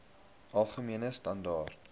algemene standaar